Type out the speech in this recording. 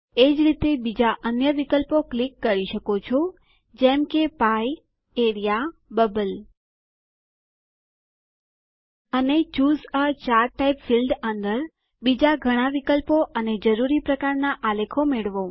એજ રીતે બીજાં અન્ય વિકલ્પો ક્લિક કરી શકો છો જેમ કે pieએઆરઇએ બબલ અને ચૂસે એ ચાર્ટ ટાઇપ ફિલ્ડ અંદર બીજા ઘણા વિકલ્પો અને જરૂરી પ્રકારના આલેખ મળવો